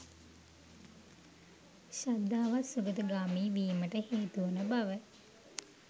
ශ්‍රද්ධාවත් සුගතිගාමි වීමට හේතු වන බව